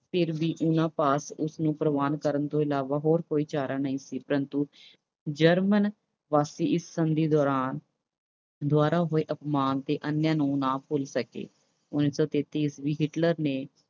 ਫਿਰ ਵੀ ਉਨ੍ਹਾਂ ਪਾਸ ਉਸਨੂੰ ਪ੍ਰਵਾਨ ਕਰਨ ਤੋਂ ਇਲਾਵਾ ਹੋਰ ਕੋਈ ਚਾਰਾ ਨਹੀਂ ਸੀ। ਪ੍ਰੰਤੂ German ਵਾਸੀ ਇਸ ਸੰਧੀ ਦੌਰਾਨ, ਦੁਆਰਾ ਹੋਏ ਅਪਮਾਨ ਅਤੇ ਅਨਿਆਂ ਨੂੰ ਨਾ ਭੁੱਲ ਸਕੇ। ਉਨੀ ਸੌ ਤੇਤੀ ਈਸਵੀ ਵਿੱਚ Hitler ਨੇ